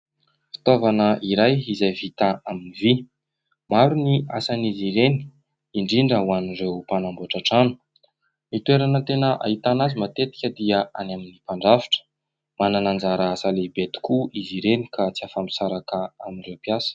Fitaovana iray izay vita amin'ny vy. Maro ny asan'izy ireny indrindra ho an'ireo mpanamboatra trano. Ny toerana tena ahitana azy matetika dia any amin'ny mpandrafitra, manana anjara asa lehibe tokoa izy ireny ka tsy afa-misaraka amin'ireo mpiasa.